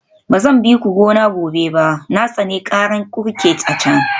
Ba zan bi ku gona gobe ba, na tsani karar kurket a can